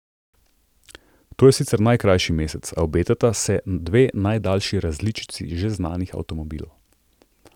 To je sicer najkrajši mesec, a obetata se dve najdaljši različici že znanih avtomobilov.